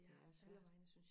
det er svært